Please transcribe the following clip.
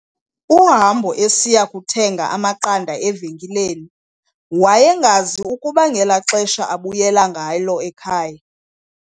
uhambo esiya kuthenga amaqanda evenkileni, wayengazi ukuba ngelaxesha abuyela ngalo ekhaya